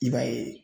I b'a ye